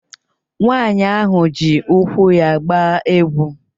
Nwaanyị ahụ ji úkwù ya agba egwu.